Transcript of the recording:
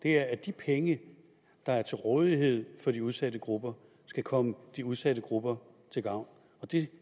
at de penge der er til rådighed for de udsatte grupper skal komme de udsatte grupper til gavn og det